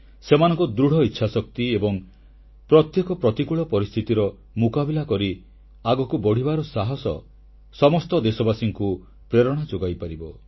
ସେମାନଙ୍କ ଦୃଢ଼ ଇଚ୍ଛାଶକ୍ତି ଏବଂ ପ୍ରତ୍ୟେକ ପ୍ରତିକୂଳ ପରିସ୍ଥିତିର ମୁକାବିଲା କରି ଆଗକୁ ବଢ଼ିବାର ସାହାସ ସମସ୍ତ ଦେଶବାସୀଙ୍କୁ ପ୍ରେରଣା ଯୋଗାଇପାରିବ